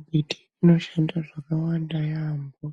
Mbiti inoshanda zvakawanda yaambo,